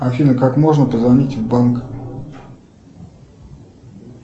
афина как можно позвонить в банк